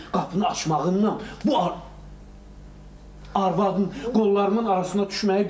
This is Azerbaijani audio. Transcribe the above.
Qapını açmağından bu arvadın qollarımın arasına düşməyi bir oldu.